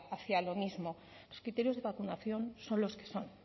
hacia lo mismo los criterios de vacunación son los que son